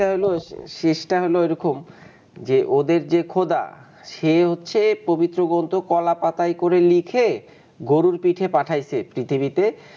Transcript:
টা হইল এরকম ওদের যে খোদা সে হচ্ছে, পবিত্রগ্রন্থ কলা পাতায় করে লিখে গরুর পিঠে পাঠায়েছ এ পৃথিবীতে.